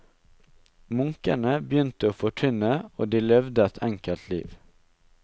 Munkene begynte å forkynne, og de levde et enkelt liv.